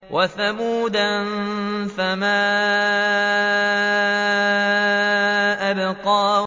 وَثَمُودَ فَمَا أَبْقَىٰ